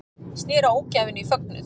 Snéru ógæfunni í fögnuð